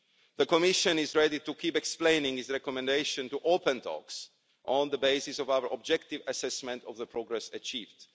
The Commission is ready to keep explaining its recommendation to open talks on the basis of our objective assessment of the progress achieved.